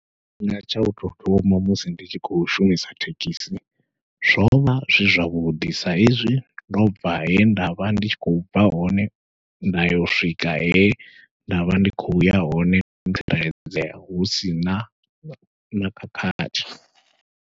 Tshifhinga tsha utou thoma musi ndi tshi khou shumisa thekhisi, zwovha zwi zwavhuḓi saizwi ndo bva he ndavha ndi tshi khou bva hone nda yo swika he ndavha ndi khou ya hone ndo tsireledzea husina na khakhathi.